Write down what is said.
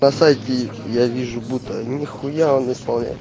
на сайте я вижу будто ни хуя он исполняет